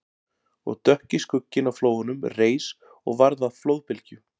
Og dökki skugginn á flóanum reis og varð að flóðbylgju